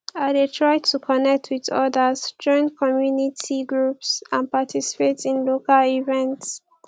i dey try to connect with odas join community groups and participate in local events